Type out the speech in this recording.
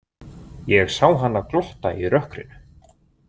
Ég sá hana glotta í rökkrinu.